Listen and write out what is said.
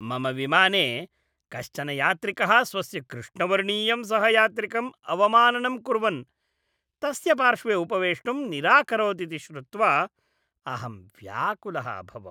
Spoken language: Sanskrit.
मम विमाने कश्चन यात्रिकः स्वस्य कृष्णवर्णीयं सहयात्रिकम् अवमाननं कुर्वन्, तस्य पार्श्वे उपवेष्टुं निराकरोत् इति श्रुत्वा अहं व्याकुलः अभवम्।